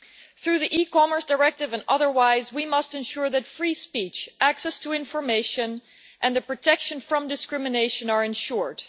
Through the e Commerce Directive and otherwise we must ensure that free speech, access to information and the protection from discrimination are ensured.